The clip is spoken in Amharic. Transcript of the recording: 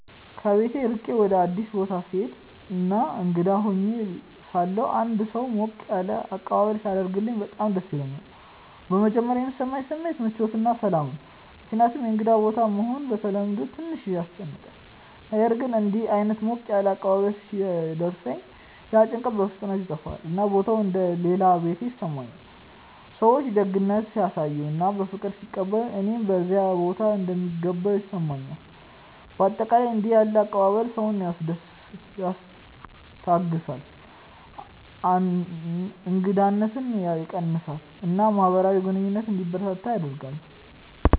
ከቤት ርቄ ወደ አዲስ ቦታ ስሄድ እና እንግዳ ሆኜ ሳለሁ አንድ ሰው ሞቅ ያለ አቀባበል ሲያደርግልኝ በጣም ደስ ይለኛል። በመጀመሪያ የሚሰማኝ ስሜት ምቾት እና ሰላም ነው፣ ምክንያቱም እንግዳ ቦታ መሆን በተለምዶ ትንሽ ያስጨንቃል። ነገር ግን እንዲህ ዓይነት ሞቅ ያለ አቀባበል ሲደርሰኝ ያ ጭንቀት በፍጥነት ይጠፋል፣ እና ቦታው እንደ “ ሌላ ቤቴ ” ይሰማኛል። ሰዎች ደግነት ሲያሳዩ እና በፍቅር ሲቀበሉኝ እኔም በዚያ ቦታ እንደምገባ ይሰማኛል። በአጠቃላይ እንዲህ ያለ አቀባበል ሰውን ያስታግሳል፣ እንግዳነትን ያስቀንሳል እና ማህበራዊ ግንኙነት እንዲበረታ ያደርጋል።